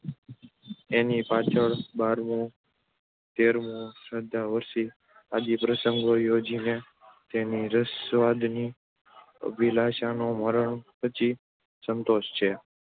ન એની પાછળ બારમું, તેરમું, શ્રાદ્ધ, વરસી આદિ પ્રસંગો યોજીને એની રસાસ્વાદની અભિલાષાને મરણ પછી સંતોષે છે.